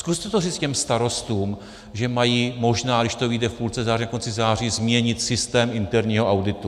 Zkuste to říct těm starostům, že mají možná, když to vyjde v půlce září, do konce září, změnit systém interního auditu.